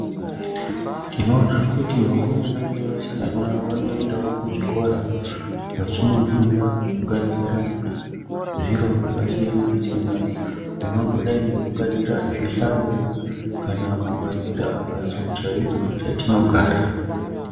Tinoona kuti vakomana nevasikana vanoendawo kuzvikora, vachinofunda kugadzira zviro zvakasiyana -siyana kungangodai ngekugadzira zvihlayo kana kugadzira mbatso chaidzo dzatinogara.